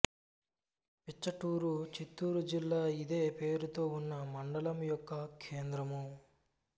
పిచ్చటూరు చిత్తూరు జిల్లా ఇదే పేరుతో ఉన్న మండలం యొక్క కేంద్రము